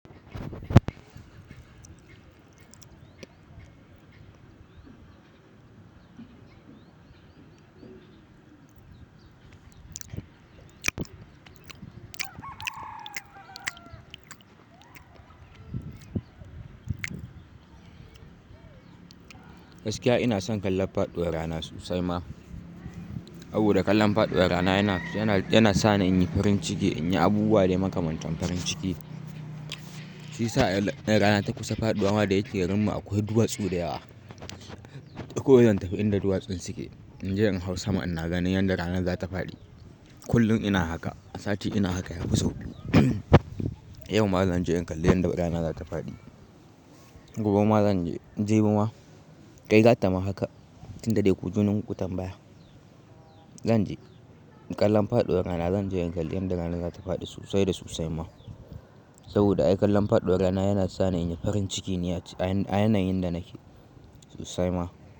Gaskiya ina son kallon faduwar rana sosai ma. Saboda kallan faɗuwar rana yana, yana, yana sa ni in yi farin ciki, in yi abubuwa dai makamantan farin ciki. Shi isa in rana ta kusa faɗuwa ma da ike garinmu akwai duwatsu da yawa. Duk kuwa zan tafi inda duwatsun suke. In je in hau sama ina ganin yanda ranan za ta faɗi. Kullum ina haka, a sati ina haka ya fi sau biyu. Yau ma zan je in kalli yanda rana za ta faɗi. Gobe ma zan je. Jibi ma. Kai gata ma haka. Tun da dai ku jununku tambaya. Zan je in kallon faɗuwar rana. Zan je in kalli yanda rana za ta faɗi sosai da sosai ma. Saboda ai kallon faɗuwar rana yana sa ni in yi farin ciki a yanayin da nake sosai ma.